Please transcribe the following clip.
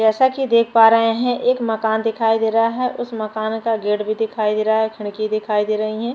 जैसा की देख पा रहे है एक माकन दिखाईं दे रहा है उस माकन का गेट भी दिखाई दे रहा है खिड़की दिखाई दे रही है।